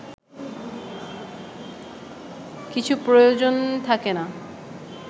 কিছু প্রয়োজন থাকে না